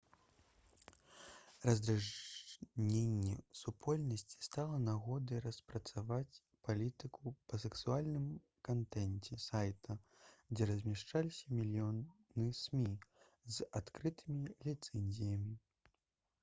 раздражненне супольнасці стала нагодай распрацаваць палітыку па сексуальным кантэнце сайта дзе размяшчаліся мільёны смі з адкрытымі ліцэнзіямі